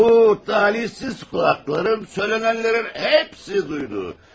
Bu talihsiz qulağım söylənənlərin hepsini duydu.